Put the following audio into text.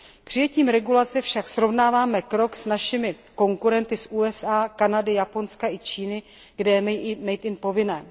Přijetím regulace však srovnáváme krok s našimi konkurenty z USA, Kanady, Japonska i Číny, kde je made in povinné.